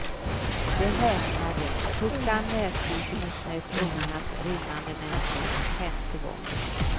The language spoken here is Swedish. Vi häpnade, tog fram näsduken och snöt ungarnas rinnande näsor för femte gången.